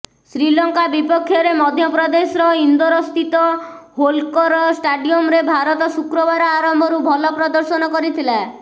ଶ୍ରୀଲଙ୍କା ବିପକ୍ଷରେ ମଧ୍ୟପ୍ରଦେଶର ଇନ୍ଦୋରସ୍ଥିତ ହୋଲ୍କର ଷ୍ଟାଡିୟମରେ ଭାରତ ଶୁକ୍ରବାର ଆରମ୍ଭରୁ ଭଲ ପ୍ରଦର୍ଶନ କରିଥିଲା